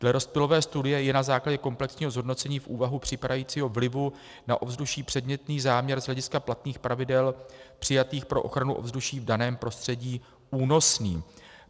Dle rozptylové studie je na základě komplexního zhodnocení v úvahu připadajícího vlivu na ovzduší předmětný záměr z hlediska platných pravidel přijatých pro ochranu ovzduší v daném prostředí únosný.